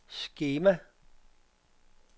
skema